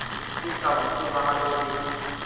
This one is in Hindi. स्थिति काबू से बाहर हो रही थी